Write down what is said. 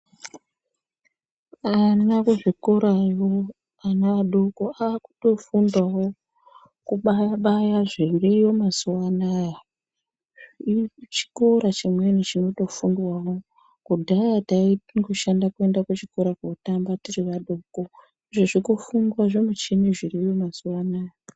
Ana kuzvikorayo ana adoko aakutofundao kubaya baya zviriyo mazuwaanaya chikora chimweni chinotofundwao kudahya titongoshanda kuenda kuchikora kotamba tisina bhuku izvezvi kofundwa zvimichini zviriyo mazuwaanaya.